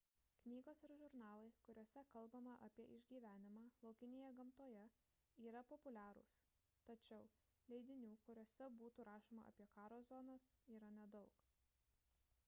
knygos ir žurnalai kuriuose kalbama apie išgyvenimą laukinėje gamtoje yra populiarūs tačiau leidinių kuriuose būtų rašoma apie karo zonas yra nedaug